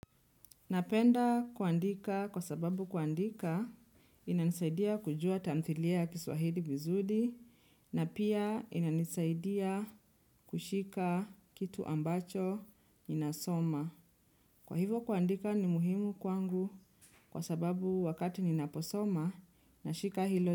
Napenda kuandika kwa sababu kuandika inanisaidia kujua tamthilia kiswahili vizuli na pia inanisaidia kushika kitu ambacho ninasoma. Kwa hivo kuandika ni muhimu kwangu kwa sababu wakati ninaposoma na shika hilo.